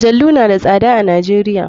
Majalu na da tsad a nijeria.